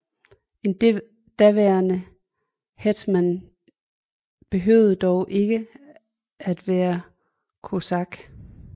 En daværende hétman behøvede dog ikke at være kosak